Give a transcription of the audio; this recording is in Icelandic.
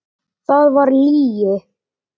Það var lygi.